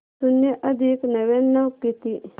शून्य अधिक नव्याण्णव किती